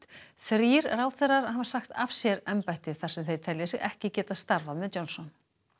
þrír ráðherrar hafa sagt af sér embætti þar sem þeir telja sig ekki geta starfað með Johnson